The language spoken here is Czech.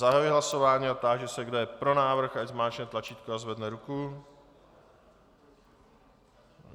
Zahajuji hlasování a táži se, kdo je pro návrh, ať zmáčkne tlačítko a zvedne ruku.